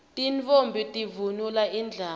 tintfombi tivunula indlamu